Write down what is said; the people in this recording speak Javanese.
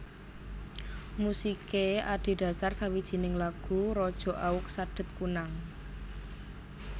Musiké adhedhasar sawijining lagu raja Aug Sadet Kunnang